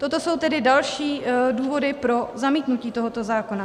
Toto jsou tedy další důvody pro zamítnutí tohoto zákona.